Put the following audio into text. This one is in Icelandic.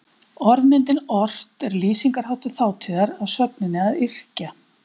Orðmyndin ort er lýsingarháttur þátíðar af sögninni að yrkja.